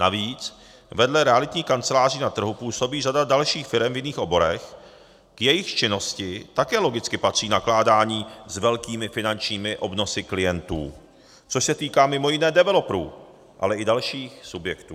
Navíc vedle realitních kanceláří na trhu působí řada dalších firem v jiných oborech, k jejichž činnosti také logicky patří nakládání s velkými finančními obnosy klientů, což se týká mimo jiné developerů, ale i dalších subjektů.